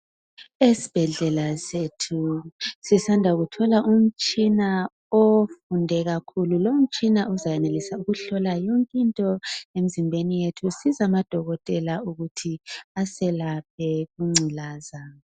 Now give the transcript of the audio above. Esibhedlela sethu sisanda kuthola umtshina ofunde kakhulu lowo mutshina uzayenelisa ukuhlola yonkinto emizimbeni yethu usize amadokotela ukuthi asilaphe ingculaza